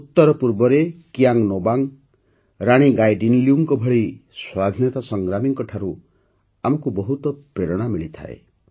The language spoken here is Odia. ଉତ୍ତର ପୂର୍ବରେ କିୟାଙ୍ଗ୍ ନୋବାଙ୍ଗ୍ ଓ ରାଣୀ ଗାଇଦିନ୍ଲ୍ୟୁଙ୍କ ଭଳି ସ୍ୱାଧୀନତା ସଂଗ୍ରାମୀଙ୍କଠାରୁ ଆମକୁ ବହୁତ ପ୍ରେରଣା ମିଳିଥାଏ